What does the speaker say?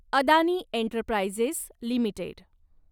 Adani Enterprises limited